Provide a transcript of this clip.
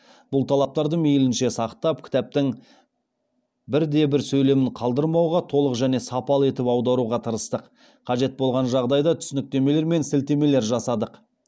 бұл талаптарды мейлінше сақтап кітаптың бірде бір сөйлемін қалдырмауға толық және сапалы етіп аударуға тырыстық қажет болған жағдайда түсініктемелер мен сілтемелер жасадық